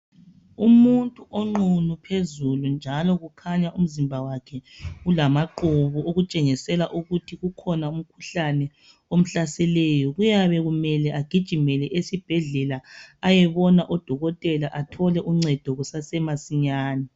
Umuntu onqunu phezulu njalo kukhanya umzimba wakhe ulamaqubu okutshengisela ukuthi ukhona umkhuhlane omhlaseleyo. Kuyabe kumele agijimele esibhedlela ayebona odokotela athole uncedo kusasemasinyane.